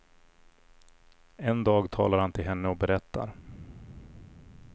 En dag talar han till henne och berättar.